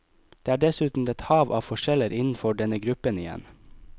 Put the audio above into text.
Det er dessuten et hav av forskjeller innenfor denne gruppen igjen.